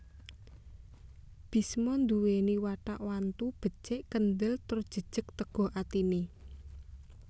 Bisma nduwèni watak wantu becik kendhel tur jejeg teguh atine